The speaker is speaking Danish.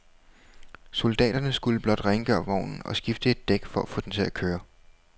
Soldaterne skulle blot rengøre vognen og skifte et dæk for at få den til at køre.